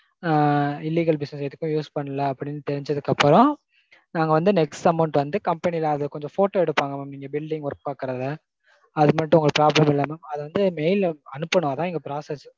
Illegal business எதுக்கும் use பண்ணல அப்டீனு தெரிஞ்சதுக்கப்பறம் நாங்க வந்து next amount வந்து company ல அது கொஞ்சம் photo எடுப்பாங்க mam இங்க building work பாக்கறத அது மட்டும் உங்க proper அது வந்து mail அனுப்பனாதா இங்க process